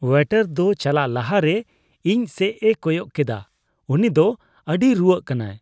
Waiter ᱫᱚ ᱪᱟᱞᱟᱜ ᱞᱟᱦᱟᱨᱮ ᱤᱧ ᱥᱮᱡᱼᱮ ᱠᱚᱭᱚᱜ ᱠᱮᱰᱟ ᱾ ᱩᱱᱤ ᱫᱚ ᱟᱹᱰᱤᱭ ᱨᱩᱣᱟᱹᱜ ᱠᱟᱱᱟ ᱾